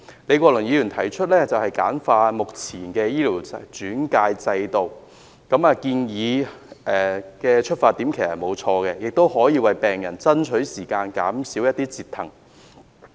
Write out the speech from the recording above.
李國麟議員提出簡化現行的醫療轉介制度，他的出發點其實沒有錯，亦可以為病人爭取時間，減少折騰。